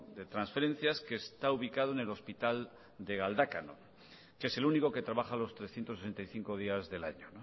de transferencias que está ubicado en el hospital de galdakao que es el único que trabaja los trescientos sesenta y cinco días del año